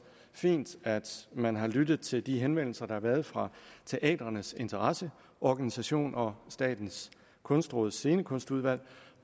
fint at man har lyttet til de henvendelser der har været fra teatrenes interesseorganisation og statens kunstråds scenekunstudvalg